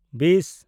ᱵᱤᱥ